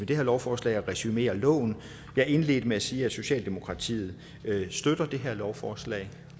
det her lovforslag at resumere loven jeg indledte med at sige at socialdemokratiet støtter det her lovforslag